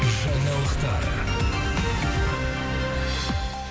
жаңалықтар